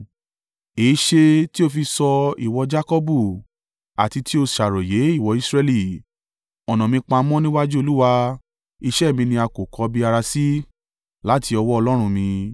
Èéṣe tí o fi sọ, ìwọ Jakọbu? Àti tí o ṣàròyé, ìwọ Israẹli, “Ọ̀nà mi pamọ́ níwájú Olúwa; ìṣe mi ni a kò kọbi ara sí láti ọwọ́ Ọlọ́run mi”?